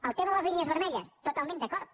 el tema de les línies vermelles totalment d’acord